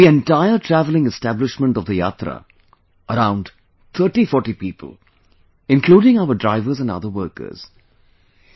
The entire travelling establishment of the Yatra, around 3040 people including our drivers and other workers...